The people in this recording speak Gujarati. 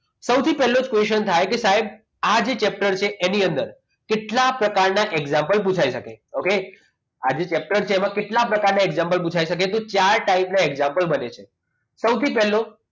સૌથી પહેલો question થાય કે સાહેબ આજે chapter છે એની અંદર કેટલાક પ્રકારના example પુછાય શકે ઓકે આજે chapter છે એમાં કેટલા પ્રકારના example પૂછાઇ શકે તો ચાર ટાઈપના example બની શકે સૌથી પહેલો